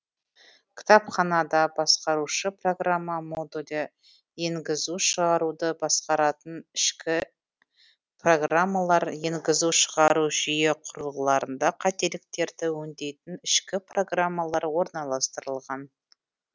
кітапханада басқарушы программа модулі енгізу шығаруды басқаратын ішкі программалар енгізу шығару жүйе құрылғыларында қателіктерді өңдейтін ішкі программалар орналастырылған